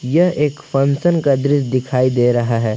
यह एक फंसन का दृश्य दिखाई दे रहा है।